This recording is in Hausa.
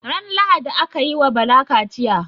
Ran lahadi akayi wa Bala kachiya